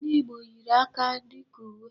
Ndị Ìgbo yiri áká dịka uwe.